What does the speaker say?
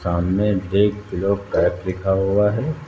सामने the globe cafe लिखा हुआ है।